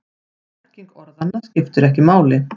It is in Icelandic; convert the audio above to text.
Merking orðanna skiptir ekki máli.